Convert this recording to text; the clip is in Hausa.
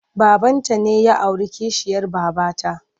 Babanta ne ya auri kishiyar babata.